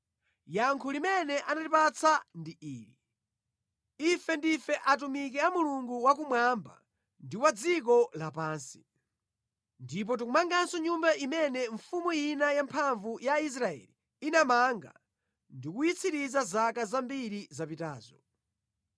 Yankho limene anatipatsa ndi ili: “Ife ndife atumiki a Mulungu wa kumwamba ndi wa dziko lapansi, ndipo tikumanganso Nyumba imene mfumu ina yamphamvu ya Israeli inamanga ndi kuyitsiriza zaka zambiri zapitazo.